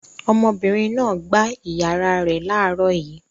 Ọmọbìnrin náà gbá ìyàrá rẹ̀ láàárọ̀ yìí.